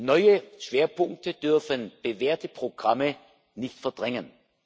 Neue Schwerpunkte dürfen bewährte Programme nicht verdrängen.